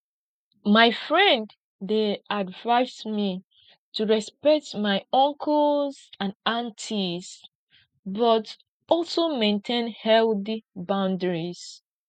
my friend dey advise me to respect my uncles and aunties but also maintain healthy boundaries